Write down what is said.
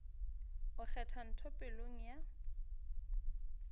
o kgwatha ntho pelong ya